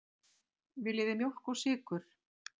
Viljið þið mjólk og sykur?